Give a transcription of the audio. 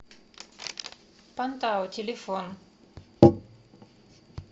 пантао телефон